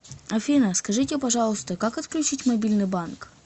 афина скажите пожалуйста как отключить мобильный банк